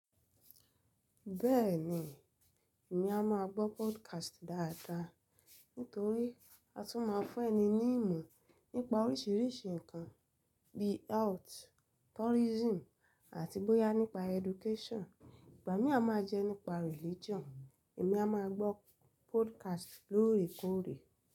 Bẹ́ẹ̀ni, èmi a máa gbọ́ podcast dáadáa. Nítorí a tún máa fún ẹni ní ìmọ̀ nípa oríṣiríṣi ǹkan bí i health, tourism àti bóyá nípa education. Ìgbà mìá máa jẹ́ nípa religion. Èmi a máa gbọ́ podcast lóòrèkóòrè.